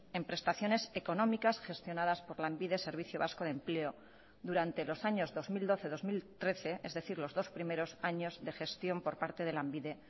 en prestaciones económicas gestionadas por lanbide servicio vasco de empleo durante los años dos mil doce dos mil trece es decir los dos primeros años de gestión por parte de lanbide